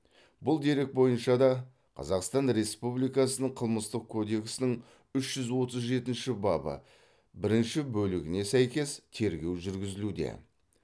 бұл дерек бойынша да қазақстан республикасының қылмыстық кодексінің үш жүз отыз жетінші бабы бірінші бөлігіне сәйкес тергеу жүргізілуде